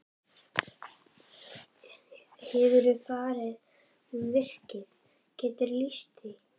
Hefurðu farið um virkið, geturðu lýst því?